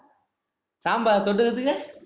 sambar தொட்டுக்கறதுக்கு